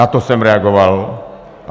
Na to jsem reagoval.